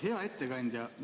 Hea ettekandja!